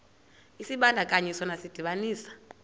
isibandakanyi sona sidibanisa